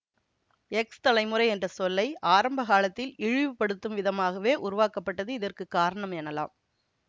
X தலைமுறை என்ற சொல்லை ஆரம்ப காலத்தில் இழிவுப்படுத்தும் விதமாகவே உருவாக்கப்பட்டது இதற்கு காரணம் எனலாம்